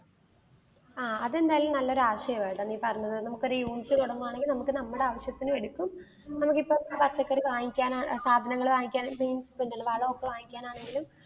ആ അതെന്തായാലും ഒരു നല്ല ആശയമാണ് ട്ടോ നീ പറഞ്ഞത്. നമുക്കൊരു unit തുടങ്ങുകയാണെങ്കിൽ നമുക്ക് നമ്മുടെ ആവശ്യത്തിനും എടുക്കും. നമ്മൾക്കിപ്പോ പച്ചക്കറി പച്ചക്കറി വാങ്ങിക്കാൻ, സാധനങ്ങൾ വാങ്ങിക്കാൻ ആണെങ്കിലും വളമൊക്കെ വാങ്ങിക്കാൻ ആണെങ്കിലും